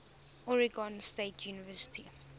oregon state university